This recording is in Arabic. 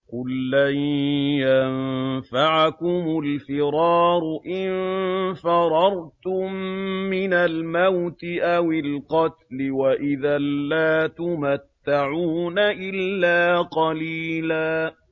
قُل لَّن يَنفَعَكُمُ الْفِرَارُ إِن فَرَرْتُم مِّنَ الْمَوْتِ أَوِ الْقَتْلِ وَإِذًا لَّا تُمَتَّعُونَ إِلَّا قَلِيلًا